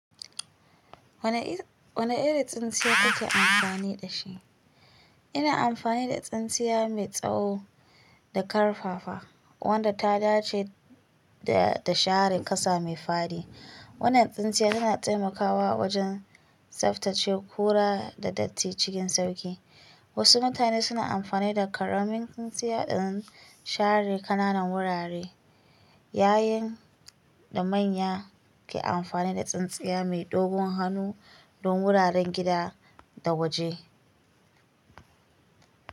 Wane iri tsintsiya kuke amfani da shi? Ina amfani da tsintsiya mai tsawo da ƙarfafa, wadda ta dace da share ƙasa mai fadi. Wannan tsintsiya tana taimakawa wajen tsaftace kura da datti cikin sauƙi. Wasu mutane suna amfani da ƙaramin tsintsiya don share ƙananan wurare, yayin da manya ke amfani da tsintsiya mai dogon hannu don wuraren gida da waje.